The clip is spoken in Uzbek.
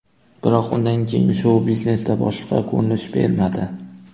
Biroq undan keyin shou-biznesda boshqa ko‘rinish bermadi.